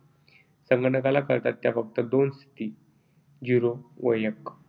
संगणकाला कळतात त्या फक्त दोन स्थिती zero व एक